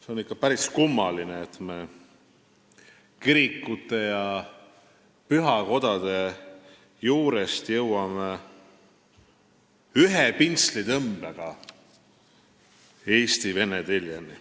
See on ikka päris kummaline, et me kirikute ja pühakodade juurest jõuame ühe pintslitõmbega Eesti-Vene teljeni.